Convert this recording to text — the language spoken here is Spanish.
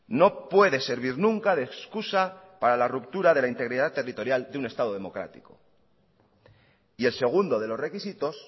no puede servir nunca de excusa para la ruptura de la integridad territorial de un estado democrático y el segundo de los requisitos